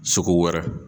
Segu wɛrɛ